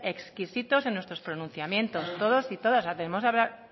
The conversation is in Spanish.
exquisitos en nuestros pronunciamientos todos y todas